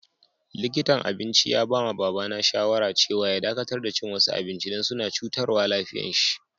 Likintan abincin ya ba ma baba na shawara cewa ya dakatar da cin wasu abinci dan suna cutarwa lafiyan si.